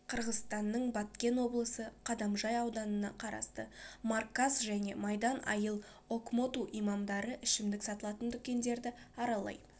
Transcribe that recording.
қырғызстанның баткен облысы кадамжай ауданына қарасты марказ және майдан айыл окмоту имамдары ішімдік сатылатын дүкендерді аралай